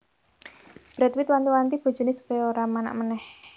Brad Pitt wanti wanti bojone supaya ora manak maneh